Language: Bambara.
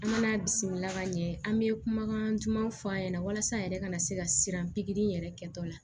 An mɛna bisimila ka ɲɛ an bɛ kumakan dumanw fɔ an ɲɛna walasa an yɛrɛ ka se ka siran pikiri in yɛrɛ kɛtɔla